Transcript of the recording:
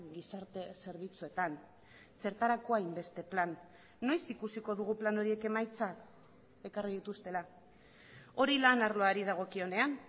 gizarte zerbitzuetan zertarako hainbeste plan noiz ikusiko dugu plan horiek emaitzak ekarri dituztela hori lan arloari dagokionean